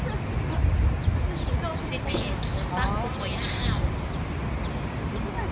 sephetho sa kopo ya hao